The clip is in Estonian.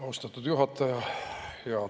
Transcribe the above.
Austatud juhataja!